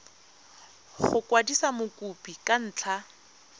go kwadisa mokopi ka ntlha